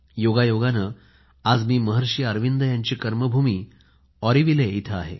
योगायोगाने आज मी महर्षी अरविंद यांची कर्मभूमी ऑरोविले इथे आहे